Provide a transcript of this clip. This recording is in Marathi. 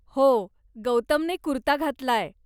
हो, गौतमने कुर्ता घातलाय.